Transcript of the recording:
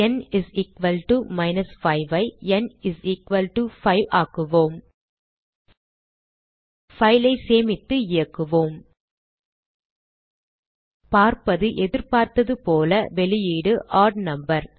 ந் 5 ஐ ந் 5 ஆக்குவோம் file ஐ சேமித்து இயக்குவோம் பார்ப்பது எதிர்பார்த்ததுபோல வெளியீடு ஒட் நம்பர்